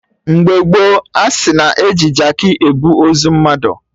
Mgbe gboo, asị na-eji Jaakị ebu ozu mmadụ